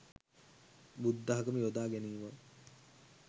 බුද්ධාගම යොදා ගැනීමක්.